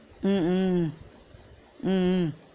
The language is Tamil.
உம் உம் உம் உம்